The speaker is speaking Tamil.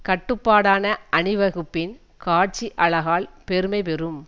கட்டுப்பாடான அணிவகுப்பின் காட்சி அழகால் பெருமை பெறும்